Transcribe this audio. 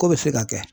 Ko bɛ se ka kɛ